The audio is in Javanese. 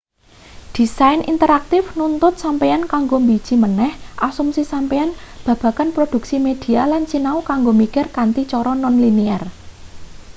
desain interaktif nuntut sampeyan kanggo mbiji maneh asumsi sampeyan babagan produksi media lan sinau kanggo mikir kanthi cara non-linear